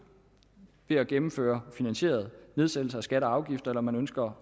ved at gennemføre finansierede nedsættelser af skatter og afgifter eller man ønsker